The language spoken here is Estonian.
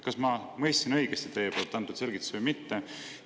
Kas ma mõistsin õigesti teie antud selgitusi või mitte?